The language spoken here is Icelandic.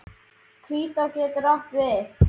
Hvítá getur átt við